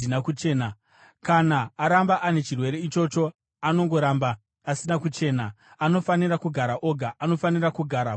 Kana aramba ane chirwere ichocho anongoramba asina kuchena. Anofanira kugara oga; anofanira kugara kunze kwomusasa.